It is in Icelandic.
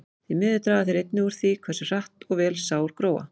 Því miður draga þeir einnig úr því hversu hratt og vel sár gróa.